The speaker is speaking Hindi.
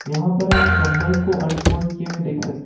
यहां पर हम कंबल को अनफोल्ड किए हुए देख सकते--